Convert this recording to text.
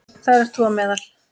Þar ert þú á meðal.